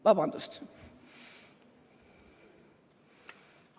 Vabandust!